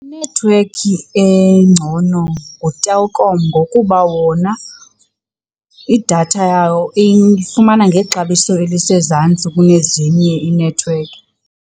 Inethiwekhi engcono nguTelkom ngokuba wona idatha yawo iyifumana ngexabiso elisezantsi kunezinye iinethiwekhi.